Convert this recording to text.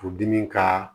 Furudimi ka